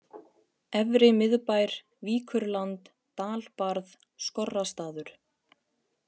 Efri-Miðbær, Víkurland, Dalbarð, Skorrastaður